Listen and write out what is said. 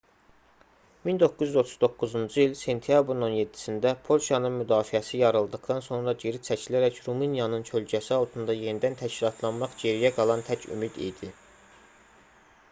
1939-cu il sentyabrın 17-sində polşanın müdafiəsi yarıldıqdan sonra geri çəkilərək rumıniyanın kölgəsi altında yenidən təşkilatlanmaq geriyə qalan tək ümid idi